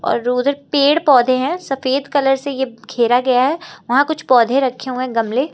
और पेड़ पौधे हैं सफेद कलर से ये घेरा गया है वहां कुछ पौधे रखे हुए हैं गमले।